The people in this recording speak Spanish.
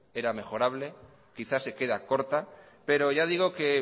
era mejorable quizás se queda corta pero ya digo que